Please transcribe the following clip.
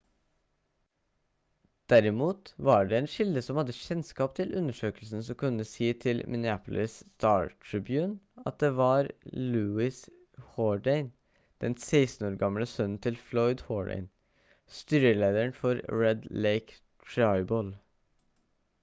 derimot var det en kilde som hadde kjennskap til undersøkelsen som kunne si til minneapolis star-tribune at det var louis jourdain den 16 år gamle sønnen til floyd jourdain styrelederen for red lake tribal